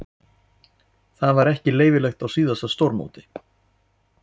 Það var ekki leyfilegt á síðasta stórmóti.